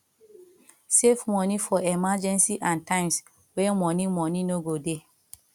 save money for emergency and times wey money money no go dey